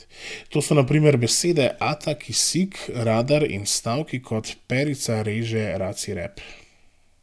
To so na primer besede ata, kisik, radar in stavki kot Perica reže raci rep.